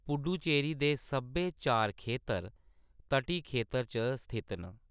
पुडुचेरी दे सब्भै चार खेतर तटी खेतर च स्थित न।